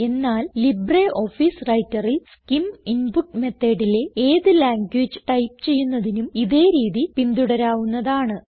എന്നാൽ ലിബ്രിയോഫീസ് Writerൽ SCIM input Methodലെ ഏത് ലാംഗ്വേജ് ടൈപ്പ് ചെയ്യുന്നതിനും ഇതേ രീതി പിന്തുടരാവുന്നതാണ്